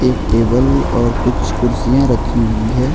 एक टेबल और कुछ कुर्सियां रखी हुई हैं।